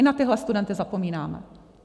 I na tyhle studenty zapomínáme.